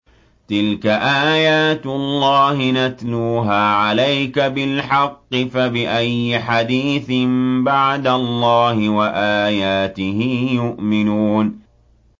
تِلْكَ آيَاتُ اللَّهِ نَتْلُوهَا عَلَيْكَ بِالْحَقِّ ۖ فَبِأَيِّ حَدِيثٍ بَعْدَ اللَّهِ وَآيَاتِهِ يُؤْمِنُونَ